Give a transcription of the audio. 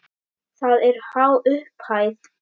Það er há upphæð.